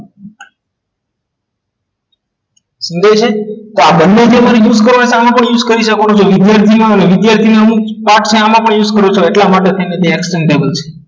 તો આ બંને જે છે એ આમાં use કરવી હોય તો use કરી સકો છો વિદ્યાર્થી ના હોય ને વિદ્યાર્થી હુજ પાસ એનામાં use કરું છું એટલે એમાં